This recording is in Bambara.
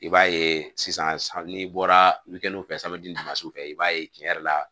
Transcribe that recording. I b'a ye sisan n'i bɔra n'o fɛ i b'a ye tiɲɛ yɛrɛ la